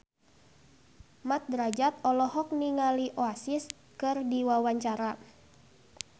Mat Drajat olohok ningali Oasis keur diwawancara